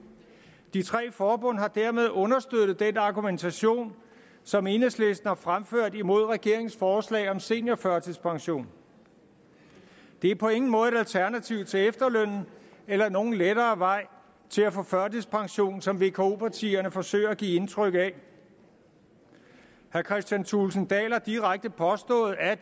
de tre forbund har dermed understøttet den argumentation som enhedslisten har fremført imod regeringens forslag om seniorførtidspension det er på ingen måde et alternativ til efterlønnen eller nogen lettere vej til at få førtidspension som vko partierne forsøger at give indtryk af herre kristian thulesen dahl har direkte påstået